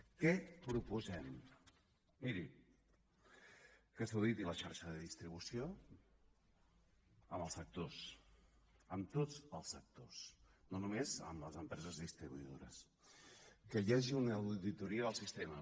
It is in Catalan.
què proposem miri que s’auditi la xarxa de distribució amb els actors amb tots els actors no només amb les empreses distribuïdores que hi hagi una auditoria del sistema